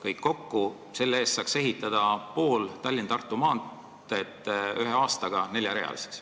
Selle raha eest saaks ehitada pool Tallinna–Tartu maanteed ühe aastaga neljarealiseks.